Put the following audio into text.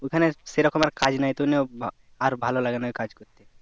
ওখানে সেই রকম আর কাজ নাই তো নিয়ে আর ভালো লাগেনা ওই কাজ করতে ।